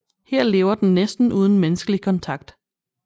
Her lever den næsten uden menneskelig kontakt